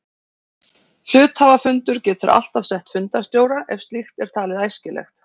Hluthafafundur getur alltaf sett fundarstjóra af ef slíkt er talið æskilegt.